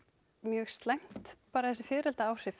mjög slæmt bara þessi